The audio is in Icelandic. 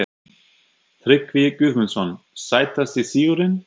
Tryggvi Guðmundsson Sætasti sigurinn?